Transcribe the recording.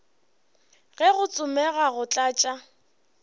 ge go tsomega go tlatša